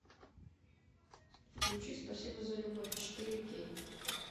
включи спасибо за любовь четыре кей